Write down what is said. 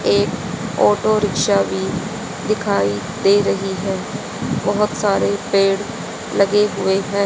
एक auto rickshaw भी दिखाई दे रही है बहोत सारे पेड़ लगे हुए हैं।